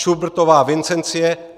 Šubertová Vincencie